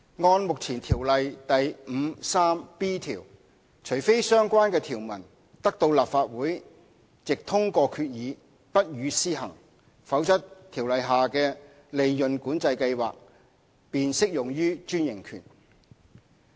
按照目前《條例》第 53b 條，除非相關的條文得到立法會藉通過決議不予施行，否則《條例》下的利潤管制計劃便適用於專營權。